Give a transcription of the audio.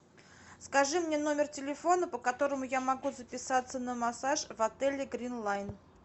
скажи мне номер телефона по которому я могу записаться на массаж в отеле гринлайн